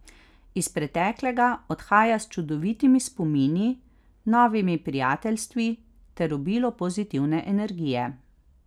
Iz preteklega odhaja s čudovitimi spomini, novimi prijateljstvi ter obilo pozitivne energije.